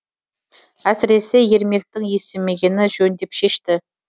әсіресе ермектің естімегені жөн деп шешті